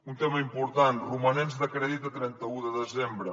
un tema important romanents de crèdit a trenta un de desembre